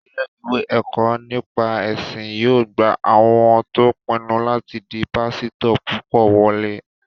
Ilé-ìwé ẹ̀kọ́ nípa ẹ̀sìn yóò gba àwọn tó pinnu láti di pásítọ̀ púpọ̀ wọlé